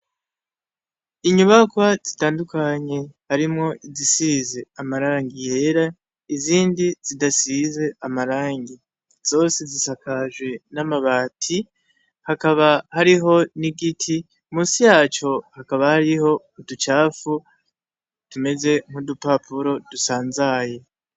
Inyubakwa zitandukanye, harimwo izisize amarangi yera, izindi zidasize amarangi. Zose zisakajwe n'amabati, hakaba hariho n'igiti, musi y'aco hakaba hariho uducafu tumeze nk'udupapuro dusanzaye.